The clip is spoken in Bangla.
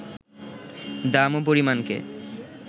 দাম ও পরিমাণকে